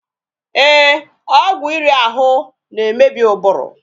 Ee, ọgwụ iri ahụ na-emebi ụbụrụ.